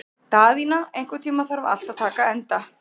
Daðína, einhvern tímann þarf allt að taka enda.